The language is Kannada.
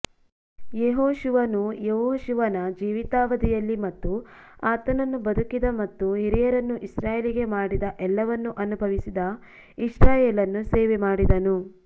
ಯೆಹೋಶುವನು ಯೆಹೋಶುವನ ಜೀವಿತಾವಧಿಯಲ್ಲಿ ಮತ್ತು ಆತನನ್ನು ಬದುಕಿದ ಮತ್ತು ಹಿರಿಯರನ್ನು ಇಸ್ರಾಯೇಲಿಗೆ ಮಾಡಿದ ಎಲ್ಲವನ್ನೂ ಅನುಭವಿಸಿದ ಇಸ್ರಾಯೇಲನ್ನು ಸೇವೆಮಾಡಿದನು